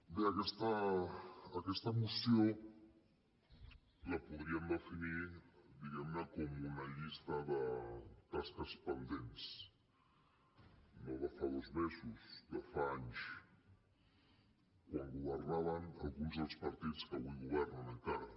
bé aquesta moció la podríem definir diguem ne com una llista de tasques pendents no de fa dos mesos de fa anys quan governaven alguns dels partits que avui governen encara